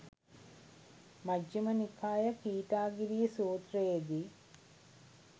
මජ්ඣිම නිකාය කීටාගිරි සූත්‍රයේ දී